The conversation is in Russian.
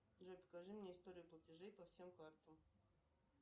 джой покажи мне историю платежей по всем картам